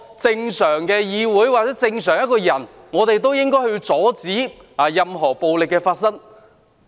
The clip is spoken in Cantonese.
正常的議會或正常人均應該阻止任何暴力發生。